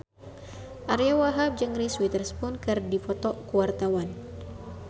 Ariyo Wahab jeung Reese Witherspoon keur dipoto ku wartawan